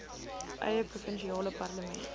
eie provinsiale parlement